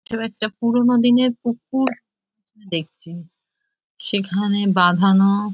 একটা পুরোনো দিনের পুকুর দেখছি সেখানে বাঁধানো --